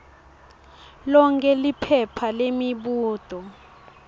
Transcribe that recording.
lonkhe liphepha lemibuto